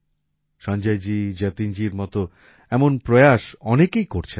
সঞ্জয়জী যতীনজীর মত এমন প্রয়াস অনেকেই করছেন